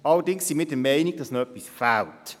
Allerdings sind wir der Meinung, es fehle noch etwas.